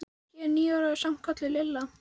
Ég er níu ára og er samt kölluð Lilla.